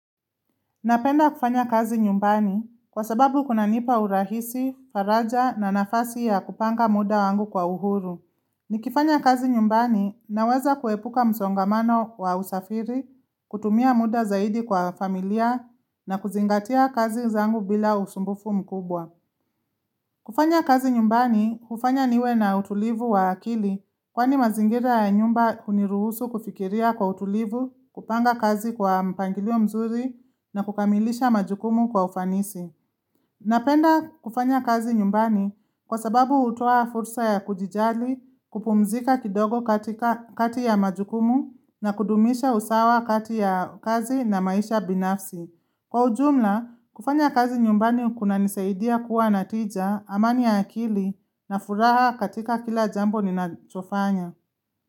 Napenda kufanya kazi nyumbani kwa sababu kunanipa urahisi, faraja na nafasi ya kupanga muda wangu kwa uhuru. Nikifanya kazi nyumbani naweza kuepuka msongamano wa usafiri, kutumia muda zaidi kwa familia na kuzingatia kazi zangu bila usumbufu mkubwa. Kufanya kazi nyumbani, hufanya niwe na utulivu wa akili kwani mazingira ya nyumba huniruhusu kufikiria kwa utulivu, kupanga kazi kwa mpangilio mzuri na kukamilisha majukumu kwa ufanisi. Napenda kufanya kazi nyumbani kwa sababu utoa fursa ya kujijali, kupumzika kidogo katika kati ya majukumu na kudumisha usawa kati ya kazi na maisha binafsi. Kwa ujumla, kufanya kazi nyumbani kunanisaidia kuwa natija, amani ya akili na furaha katika kila jambo ninachofanya.